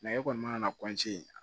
e kɔni mana na